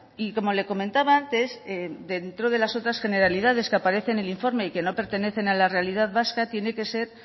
y como le comentaba antes dentro de las otras generalidades que aparecen en el informe y que no pertenecen a la realidad vasca tiene que ser